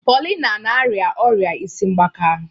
Paulina na-arịa ọrịa isi mgbaka.